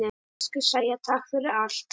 Elsku Sæja, takk fyrir allt.